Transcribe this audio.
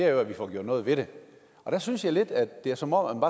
er at vi får gjort noget ved det der synes jeg lidt at det er som om